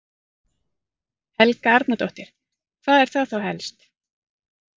Helga Arnardóttir: Hvað er það þá helst?